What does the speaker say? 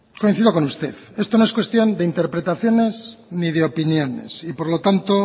coincido con usted esto no es cuestión de interpretaciones ni de opiniones y por lo tanto